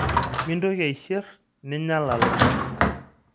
Mintoki aishir ninya lala.